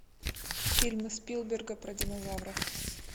фильмы спилберга про динозавров